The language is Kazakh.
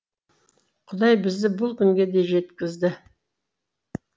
құдай бізді бұл күнге де жеткізді